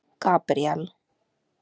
Gabríel